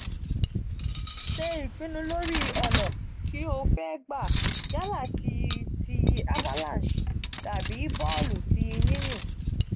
se ipinnu lori ona ti o fe gba yala ti ti avalanche tabi boolu ti yinyin.